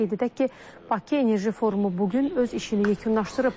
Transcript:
Qeyd edək ki, Bakı Enerji Forumu bu gün öz işini yekunlaşdırıb.